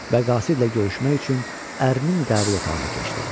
Və qasidlə görüşmək üçün ərinin qəbul otağına keçdi.